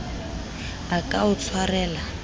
a ka a o tshwarela